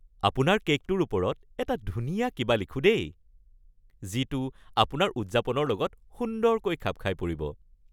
আপোনাৰ কে'কটোৰ ওপৰত এটা ধুনীয়া কিবা লিখোঁ দেই, যিটো আপোনাৰ উদযাপনৰ লগত সুন্দৰকৈ খাপ খাই পৰিব।